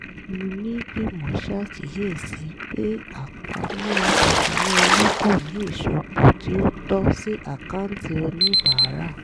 onígbìmọ̀ ṣàkíyèsí pé àpamọ́ ìṣúnná owó kò ní ìsopọ̀ tí ó tọ́ sí àkáǹtì oníbàárà